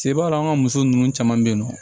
Sebaa don an ka muso nunnu caman be yen nɔ